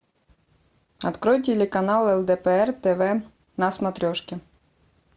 открой телеканал лдпр тв на смотрешке